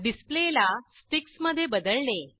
डिसप्लेला sticks मध्ये बदलणे